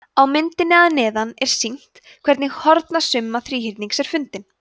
á myndinni að neðan er sýnt hvernig hornasumma þríhyrnings er fundin